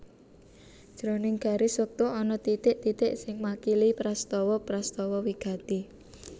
Jroning garis wektu ana titik titik sing makili prastawa prastawa wigati